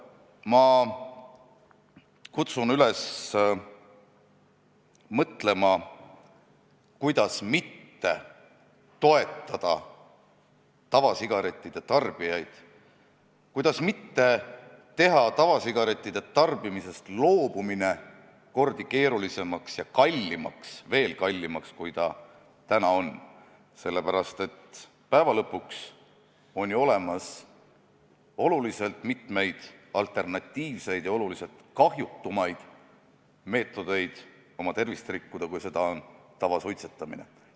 Ma kutsun üles mõtlema, kuidas mitte toetada tavasigarettide tarbijaid, kuidas mitte teha tavasigarettide tarbimisest loobumine kordi keerulisemaks ja kallimaks – veel kallimaks, kui see täna on –, sellepärast et on ju olemas mitmeid alternatiivseid ja oluliselt kahjutumaid meetodeid oma tervist rikkuda, kui seda on tavasuitsetamine.